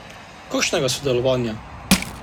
Kakšnega sodelovanja?